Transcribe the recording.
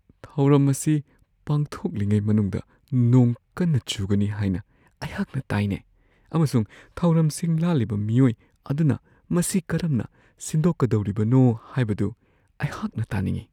ꯊꯧꯔꯝ ꯑꯁꯤ ꯄꯥꯡꯊꯣꯛꯂꯤꯉꯩ ꯃꯅꯨꯡꯗ ꯅꯣꯡ ꯀꯟꯅ ꯆꯨꯒꯅꯤ ꯍꯥꯏꯅ ꯑꯩꯍꯥꯛꯅ ꯇꯥꯏꯅꯦ ꯑꯃꯁꯨꯡ ꯊꯧꯔꯝ ꯁꯤꯟ-ꯂꯥꯡꯂꯤꯕ ꯃꯤꯑꯣꯏ ꯑꯗꯨꯅ ꯃꯁꯤ ꯀꯔꯝꯅ ꯁꯤꯟꯗꯣꯛꯀꯗꯧꯔꯤꯕꯅꯣ ꯍꯥꯏꯕꯗꯨ ꯑꯩꯍꯛꯅ ꯇꯥꯅꯤꯡꯉꯤ ꯫